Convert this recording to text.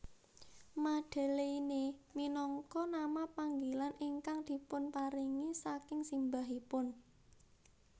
Madeleine minangka nama panggilan ingkang dipunparingi saking simbahipun